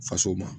Faso ma